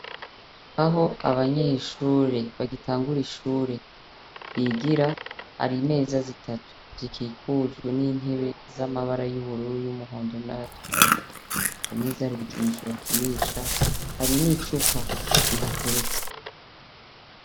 Aho abanyeshure bagitangura ishure bigira ari meza zitatu zikikujwe n'intebe z'amabara yubururu y'umuhondo n' ayatukura ku meza hari bikinisho bakinisha hari n'icupa bihateretse.